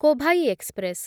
Kovai express